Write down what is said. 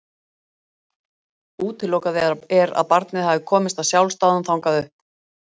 Útilokað er að barnið hafi komist af sjálfsdáðum þangað upp.